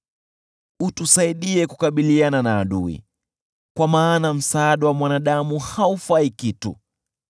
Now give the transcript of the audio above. Tuletee msaada dhidi ya adui, kwa maana msaada wa mwanadamu haufai kitu.